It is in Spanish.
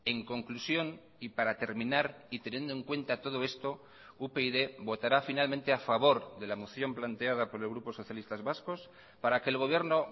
en conclusión y para terminar y teniendo en cuenta todo esto upyd votará finalmente a favor de la moción planteada por el grupo socialistas vascos para que el gobierno